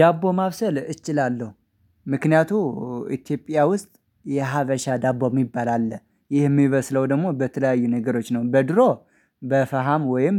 ዳቦ ማብሰል እችላለሁ። ምክንያቱም ኢትዮጵያ ውስጥ የሀበሻ ዳቦ የሚባል አለ ይህ የሚበስለው ደግሞ በተለያዩ ነገሮች ነው። በድሮ በፈሃም ወይም